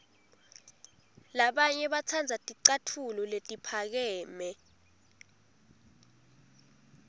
labanye batsandza ticatfulo letiphakeme